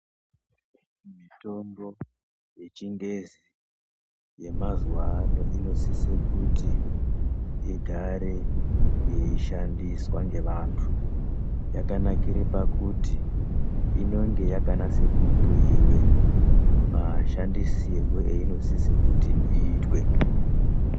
Mitombo yechingezi yemazuvano yechingezi inosise kuti igare yeishandiswa ngevantu. Yakanakire pakuti inenge yakanasa kubhuyiwe mashandisirwe einosise kuti iyitwe.